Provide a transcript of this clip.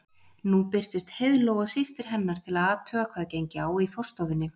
Nú birtust Heiðló og systir hennar til að athuga hvað gengi á í forstofunni.